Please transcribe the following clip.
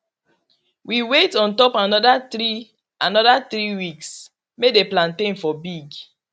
we wait on top another three another three weeks may the plantain for big